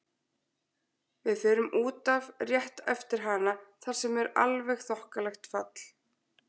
Við förum út af rétt eftir hana þar sem er alveg þokkalegt fall.